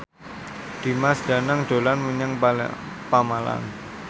Dimas Danang dolan menyang Pemalang